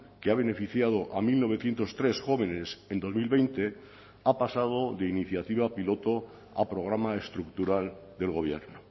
que ha beneficiado a mil novecientos tres jóvenes en dos mil veinte ha pasado de iniciativa piloto a programa estructural del gobierno